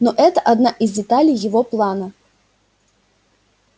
но это одна из деталей его плана